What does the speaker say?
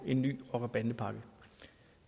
en ny rocker bande pakke